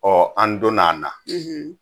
Ɔ an donn'a na